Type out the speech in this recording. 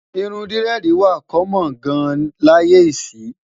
irún diredi wà kommon gán láyé isi